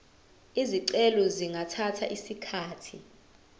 izicelo zingathatha isikhathi